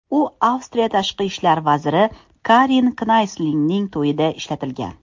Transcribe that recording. U Avstriya tashqi ishlar vaziri Karin Knayslning to‘yida ishlatilgan.